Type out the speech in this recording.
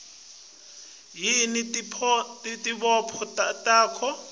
yini tibopho takho